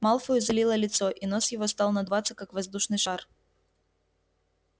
малфою залило лицо и нос его стал надуваться как воздушный шар